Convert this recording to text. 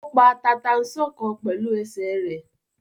Ó pa tata-n-sánkọ pẹ̀lú ẹsẹ̀ rẹ̀.